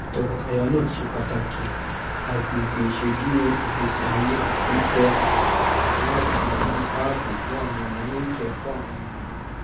tọkọtaya náà ṣe pàtàkì àgbègbè iṣeduro ìgbésíayé pípe láti ní ààbò fún àwọn ìnáwó ètò ẹkọ àwọn ọmọ wọn